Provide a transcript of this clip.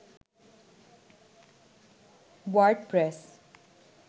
WordPress